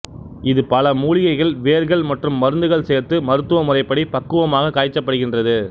இது பல மூலிகைகைகள் வேர்கள் மற்றும் மருந்துகள் சேர்த்து மருத்துவ முறைப்படி பக்குவமாக காய்ச்சப்படுகின்றது